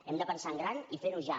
hem de pensar en gran i fer ho ja